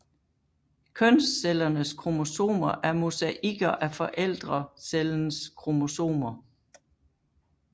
Kønscellernes kromosomer er mosaikker af forældrecellens kromosomer